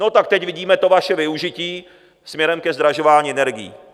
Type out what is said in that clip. No, tak teď vidíme to vaše využití směrem ke zdražování energií.